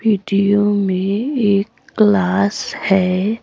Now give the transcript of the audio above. Video में एक class है।